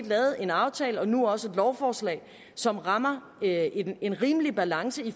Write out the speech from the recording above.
lavet en aftale og nu også et lovforslag som rammer en rimelig balance i